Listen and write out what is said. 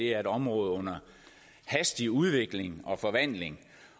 er et område under hastig udvikling og forvandling